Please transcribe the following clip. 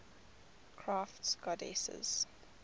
crafts goddesses